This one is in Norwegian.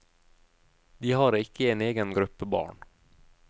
De har ikke en egen gruppe barn.